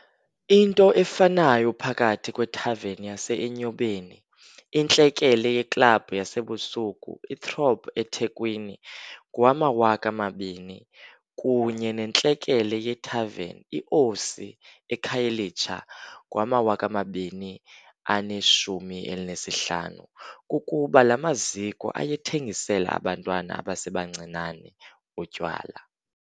Into efanayo phakathi kwethaveni yase-Enyobeni, intlekele yeklabhu yasebusuku i-Throb eThekwini ngowama-2000, kunye nentlekele yethaveni i-Osi eKhayelitsha ngowama-2015, kukuba la maziko ayethengisela abantwana abasebancinane utywala.